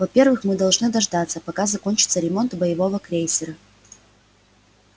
во-первых мы должны дождаться пока закончится ремонт боевого крейсера